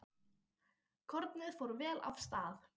Kornið fór vel af stað.